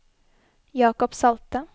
Jakob Salte